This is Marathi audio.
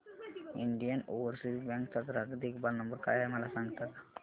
इंडियन ओवरसीज बँक चा ग्राहक देखभाल नंबर काय आहे मला सांगता का